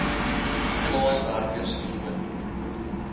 plaaswerker se loon